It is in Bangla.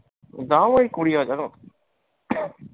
দাম ঐ কুড়ি হাজার মতো।